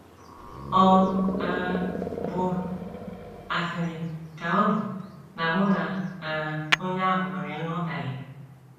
Ọ̀ um bụ asịrị ka ọ̀ bụ na mụ na um onye ahụ nwere nghọtahie?